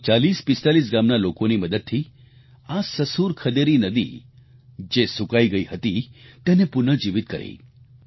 લગભગ 4045 ગામના લોકોની મદદથી આ સસુર ખદેરી નદી જે સૂકાઈ ગઈ હતી તેને પુનઃજીવિત કરી